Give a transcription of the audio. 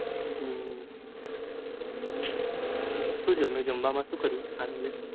હમ સુ જમ્યું જમવા માં સુ કર્યું સાંજે